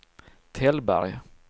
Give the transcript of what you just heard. Tällberg